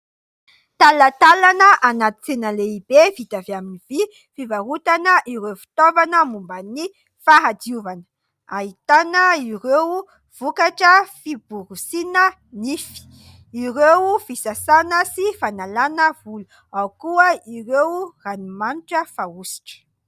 talantalana anaty tsena lehibe vita avy amin'ny vy fivarotana ireo fitaovana momba ny fahadiovana. Ahitana ireo vokatra fiborosiana nify, ireo fisasana sy fanalana volo, ao koa ireo ranomanitra fanositra.